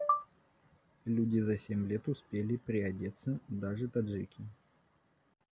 люди за семь лет успели приодеться даже таджики